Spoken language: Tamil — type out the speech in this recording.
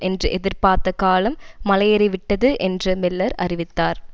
என்று எதிர்ப்பார்த்த காலம் மலை ஏறிவிட்டது என்று மில்லர் அறிவித்தார்